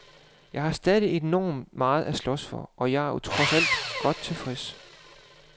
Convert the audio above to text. Jeg har stadig enormt meget at slås for, og jeg er trods alt godt tilfreds.